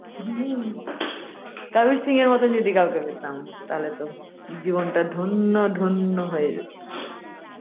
কাবির সিং-এর মত কাউকে যদি পেতাম তাহলে তো জীবন টা ধন্য ধন্য হয়ে যেতো